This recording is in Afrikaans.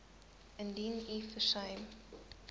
indien u versuim